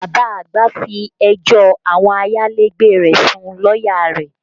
Bàbá àgbà fẹjọ́ àwọn ayálégbé rẹ̀ sun lọ́yà rẹ̀